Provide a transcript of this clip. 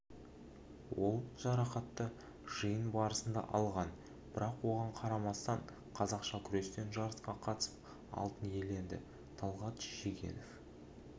ол жарақатты жиын барысында алған бірақ оған қарамастан қазақша күрестен жарысқа қатысып алтын иеленді талғат шегенов